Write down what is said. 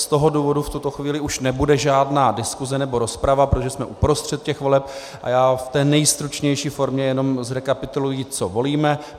Z toho důvodu v tuto chvíli už nebude žádná diskuse nebo rozprava, protože jsme uprostřed těch voleb, a já v té nejstručnější formě jenom zrekapituluji, co volíme.